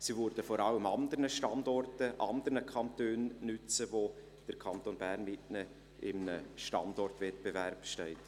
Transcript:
Sie würden vor allem an anderen Standorten anderen Kantonen nützen, mit denen der Kanton Bern in einem Standortwettbewerb steht.